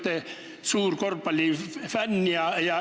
Te olete suur korvpallifänn.